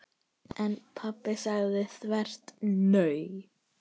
En pabbi sagði þvert nei.